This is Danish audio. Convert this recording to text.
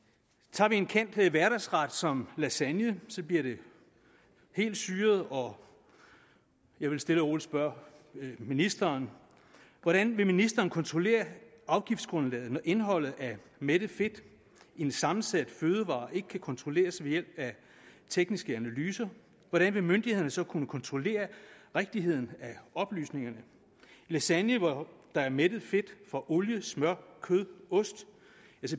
tager vi en kendt hverdagsret som lasagne bliver det helt syret og jeg vil stille og roligt spørge ministeren hvordan vil ministeren kontrollere afgiftsgrundlaget når indholdet af mættet fedt i en sammensat fødevare ikke kan kontrolleres ved hjælp af tekniske analyser hvordan vil myndighederne så kunne kontrollere rigtigheden af oplysningerne lasagne hvor der er mættet fedt fra olie smør kød og ost